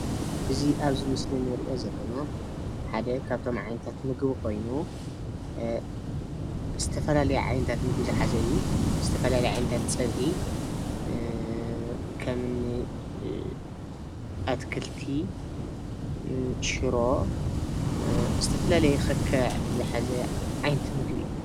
እዚ ኣብዚ ምስሊ እንሪኦ ዘለና ሓደ ካብቶም ዓይነታት ምግቢ ኮይኑ ዝተፈላለየ ዓይነታት ምግቢ ዝሓዘ እዩ። ዝተፈላለየ ዓይነታት ፀብሒ ከምኒ ኣትክልቲ፣ ሽሮ ዝተፈላለየ ክክዕ ዝሓዘ ዓይነት ምግቢ እዩ።